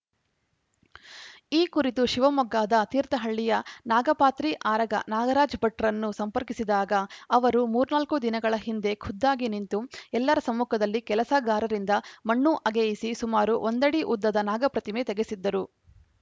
ಈ ಕುರಿತು ಶಿವಮೊಗ್ಗದ ತೀರ್ಥಹಳ್ಳಿಯ ನಾಗಪಾತ್ರಿ ಆರಗ ನಾಗರಾಜ ಭಟ್‌ರನ್ನು ಸಂಪರ್ಕಿಸಿದಾಗ ಅವರು ಮೂರ್ನಾಲ್ಕು ದಿನಗಳ ಹಿಂದೆ ಖುದ್ದಾಗಿ ನಿಂತು ಎಲ್ಲರ ಸಮ್ಮುಖದಲ್ಲಿ ಕೆಲಸಗಾರರಿಂದ ಮಣ್ಣು ಅಗೆಯಿಸಿ ಸುಮಾರು ಒಂದಡಿ ಉದ್ದದ ನಾಗಪ್ರತಿಮೆ ತೆಗೆಸಿದ್ದರು